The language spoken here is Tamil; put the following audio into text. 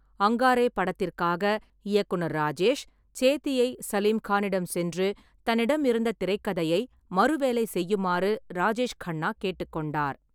அங்காரே படத்திற்காக, இயக்குநர் ராஜேஷ் சேத்தியை சலீம் கானிடம் சென்று தன்னிடம் இருந்த திரைக்கதையை மறு வேலை செய்யுமாறு ராஜேஷ் கண்ணா கேட்டுக்கொண்டார்.